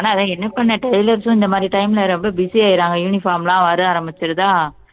ஆமா என்ன பண்ண tailors உம் இந்த மாதிரி time ல ரொம்ப busy ஆயிடுறாங்க uniform லாம் வர ஆரம்பிச்சிடுதா